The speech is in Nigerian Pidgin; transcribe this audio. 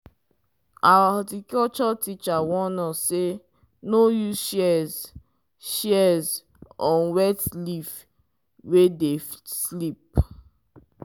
our horticulture teacher warn us say no use shears shears on wet leaf wey dey slip.